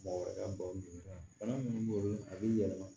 Mɔgɔ wɛrɛ ka balo bana munnu b'o a bɛ yɛlɛma